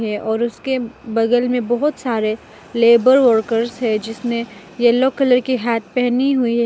है और उसके बगल में बहुत सारे लेबर वर्कर्स है जिसने येलो कलर के हैट पहनी हुई है।